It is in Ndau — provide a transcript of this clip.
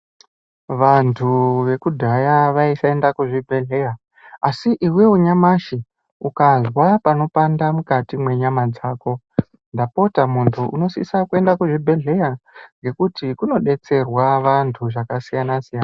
Vantu vekudhaya vaisaenda kuzvibhedhlera asi iwewe nyamashi ukazwa panopanda mukati mwenyama dzako ndapota muntu unosisa kuenda kuchibhedhlera ngekuti kunodetserwa vantu zvakasiyana siyana .